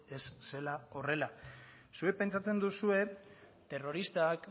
ez zela horrela zuek pentsatzen duzue terroristak